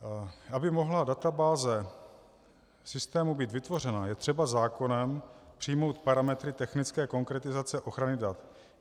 Aby mohla databáze systému být vytvořena, je třeba zákonem přijmout parametry technické konkretizace ochrany dat.